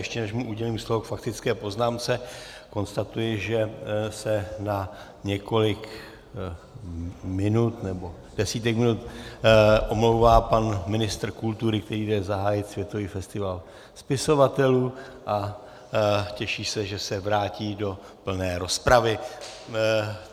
Ještě než mu udělím slovo k faktické poznámce, konstatuji, že se na několik minut nebo desítek minut omlouvá pan ministr kultury, který jde zahájit světový festival spisovatelů a těší se, že se vrátí do plné rozpravy.